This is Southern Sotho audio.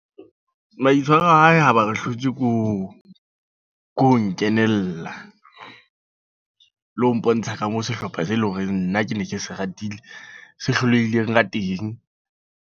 Maitshwaro a hae haeba re hlotswe ko, ko nkenela. Le ho mpontsha ka moo sehlopha se leng hore nna ke ne ke se ratile. Se hlolehileng ka teng.